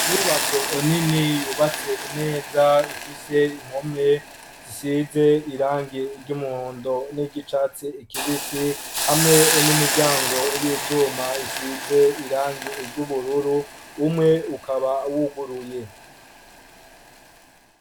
Inyubako nini yubatse neza ifise impome zisize irangi ry'umuhondo n'iry'icatsi kibisi hamwe n'imiryango y'ivyuma isize irangi ry'ubururu umwe ukaba wuguruye.